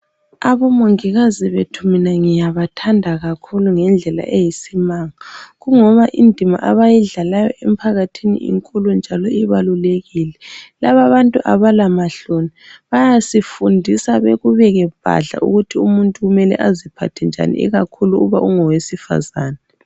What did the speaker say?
Abomongikazi bethu mina ngiyabathanda kakhulu ngendlela eyisimanga kungoba indima abayidlalayo emphakathini inkulu njalo ibalulekile. Laba bantu abalamahloni bayasifundisa bekubeke bhadla ukuba umuntu kumele aziphathe njani ikakhulu uma engowesifazane.